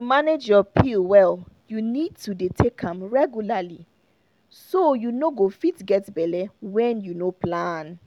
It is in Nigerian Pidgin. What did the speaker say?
to manage your pill well you need to dey take am regularly so you no go fit get belle when you no plan.